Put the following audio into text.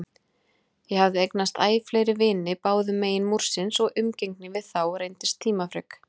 Ég hafði eignast æ fleiri vini báðumegin Múrsins og umgengni við þá reyndist tímafrek.